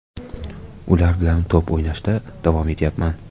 Ular bilan to‘p o‘ynashda davom etyapman.